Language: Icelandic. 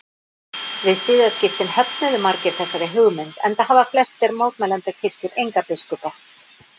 Við siðaskiptin höfnuðu margir þessari hugmynd enda hafa flestar mótmælendakirkjur enga biskupa.